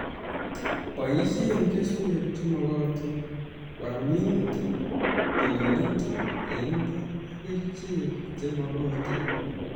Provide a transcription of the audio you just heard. Boisie keswek che magotin ,wal minutik , tililindo eng imbar ak kerichek che magotin